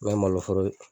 N'o ye malo foro ye